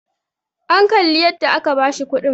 an Kalli yadda aka bashi kudin!